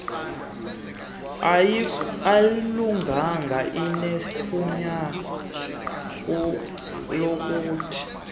ayilunganga sinegunya lokuthi